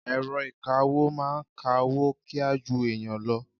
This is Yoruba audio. Èrọ ìkawó ń máa ka owó kíá ju ẹ̀yàn lọ.